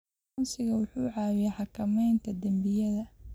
Aqoonsigu wuxuu caawiyaa xakamaynta dembiyada.